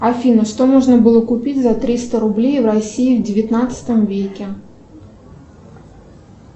афина что можно было купить за триста рублей в россии в девятнадцатом веке